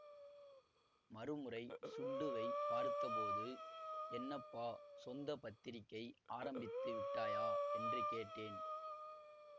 மறுமுறை சுண்டுவைப் பார்த்தபோது என்னப்பா சொந்த பத்திரிக்கை ஆரம்பித்து விட்டாயா என்று கேட்டேன்